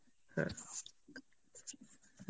হ্যাঁ